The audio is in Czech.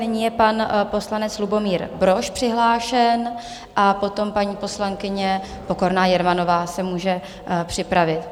Nyní je pan poslanec Lubomír Brož přihlášen a potom paní poslankyně Pokorná Jermanová se může připravit.